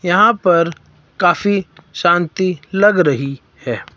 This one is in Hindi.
यहां पर काफी शांति लग रही है।